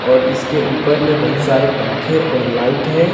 और इसके ऊपर में बहुत सारे पंखे और लाइट है।